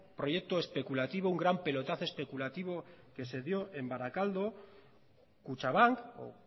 proyecto especulativo un gran pelotazo especulativo que se dio en barakaldo kutxabank o